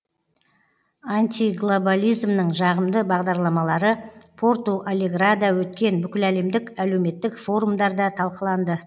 антиглобализмнің жағымды бағдарламалары порту алеграда өткен бүкіләлемдік әлеуметтік форумдарда талқыланды